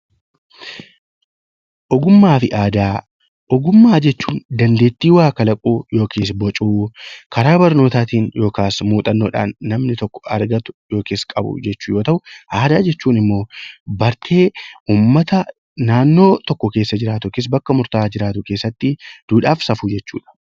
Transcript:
Ogummaa fi aadaa Ogummaa jechuun dandeettii waa kalaquu yookiis bocuu karaa barnootaatiin yookaas muuxannoodhaan namni tokko argatu yookiis qabu jechuu yoo ta'u, aadaa jechuun immoo bartee ummata naannoo tokko keessa jiraatu yookiis bakka murtaa'aa jiraatu keessatti duudhaa fi safuu jechuu dha.